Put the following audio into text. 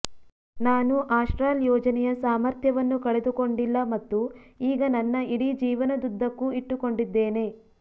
ನಾನು ಆಸ್ಟ್ರಾಲ್ ಯೋಜನೆಯ ಸಾಮರ್ಥ್ಯವನ್ನು ಕಳೆದುಕೊಂಡಿಲ್ಲ ಮತ್ತು ಈಗ ನನ್ನ ಇಡೀ ಜೀವನದುದ್ದಕ್ಕೂ ಇಟ್ಟುಕೊಂಡಿದ್ದೇನೆ